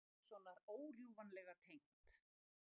Jóns Sigurðssonar órjúfanlega tengt.